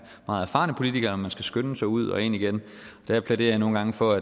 meget erfarne politikere eller om man skal skynde sig ud og ind igen der plæderer jeg nogle gange for